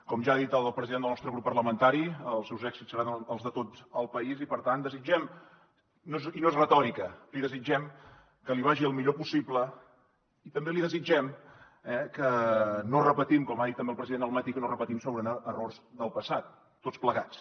com ja ha dit el president del nostre grup parlamentari els seus èxits seran els de tot el país i per tant li desitgem i no és retòrica que li vagi el millor possible i també li desitgem eh que no repetim com ha dit amb el president al matí errors del passat tots plegats